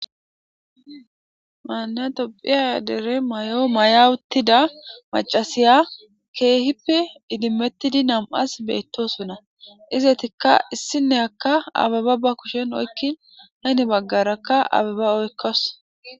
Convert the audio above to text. maana dopphiya dere may7o mayawutida macasiya keehippe idimmettidi nam7as beettosonna izetikka issinne akka ababa ba kushen oykkin hayne baggarakka ababa oykkas